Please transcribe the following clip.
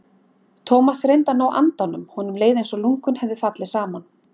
Thomas reyndi að ná andanum, honum leið einsog lungun hefðu fallið saman.